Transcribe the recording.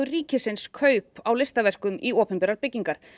ríkisins kaup á listaverkum í opinberar byggingar